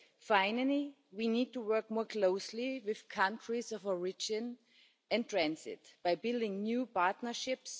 Finally, we need to work more closely with countries of origin and transit by building new partnerships.